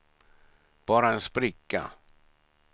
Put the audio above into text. bara en spricka